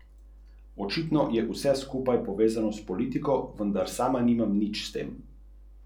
Rojena je v znamenju leva.